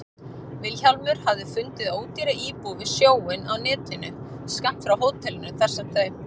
Vilhjálmur hafði fundið ódýra íbúð við sjóinn á netinu, skammt frá hótelinu þar sem þau